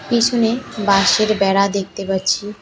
পিছনে বাঁশের বেড়া দেখতে পাচ্ছি।